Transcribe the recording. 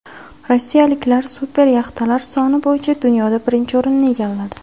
Rossiyaliklar super yaxtalar soni bo‘yicha dunyoda birinchi o‘rinni egalladi.